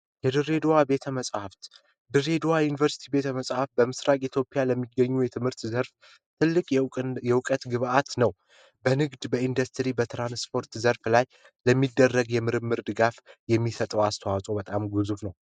የድሬዳዋ ቤተመፃፍት ድሬደዋ ዩንቨርስቲ ቤተመፃህፍት በምስራቅ ኢትዮጵያ ለሚገኙ የትምህርት ዘርፍ ትልቅ የዕውቀት ግብዓት ነው። በንግድ በኢንዱስትሪ በትራንስፖርት ዘርፍ ላይ ለሚደረገው የምርምር ድጋፍ የሚሰጠው አስተዋጽኦ በጣም ግዙፍ ነው።